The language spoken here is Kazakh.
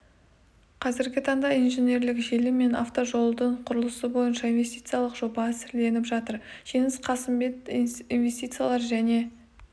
қазіргі таңда инженерлік желі мен автожолдардың құрылысы бойынша инвестициялық жоба әзірленіп жатыр жеңіс қасымбек инвестициялар және